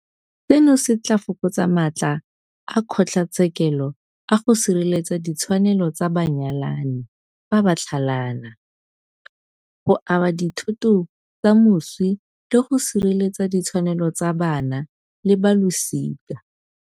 Seno se tla fokotsa matla a kgotlatshekelo a go sireletsa ditshwanelo tsa banyalani fa ba tlhalana, go aba dithoto tsa moswi le go sireletsa ditshwanelo tsa bana le balosika.